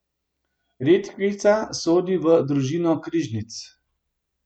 Redkvica sodi v družino križnic.